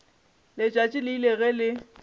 letšatši le ile ge le